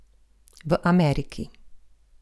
V Ameriki.